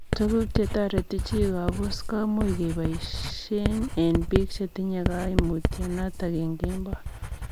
Tuguk chetoreti chii kobuus komuuch kebaishee eng piik chetinye kaimutio notok eng kemboi.